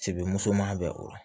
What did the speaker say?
Sebe musoman bɛ o lɔ